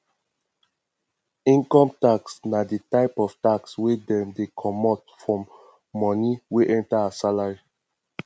income tax na di type of tax wey dem dey comot form money wey enter as salary